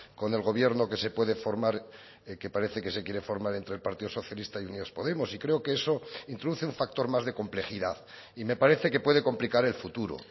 con el gobierno que se puede formar que parece que se quiere formar entre el partido socialista y unidas podemos y creo que eso introduce un factor más de complejidad y me parece que puede complicar el futuro